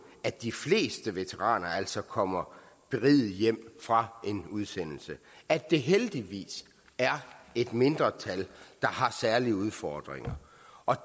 at de fleste veteraner altså kommer berigede hjem fra en udsendelse at det heldigvis er et mindretal der har særlige udfordringer